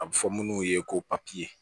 A bɛ fɔ munnu ye ko papiye